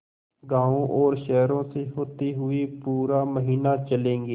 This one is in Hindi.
गाँवों और शहरों से होते हुए पूरा महीना चलेंगे